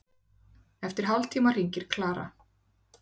Eftir hálftíma hringir Klara.